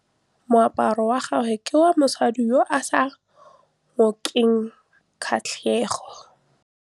Moaparô wa gagwe ke wa mosadi yo o sa ngôkeng kgatlhegô.